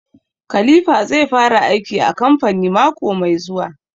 Khalipha zai fara aiki a kamfani mako mai zuwa